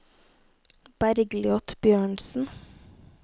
Bergliot Bjørnsen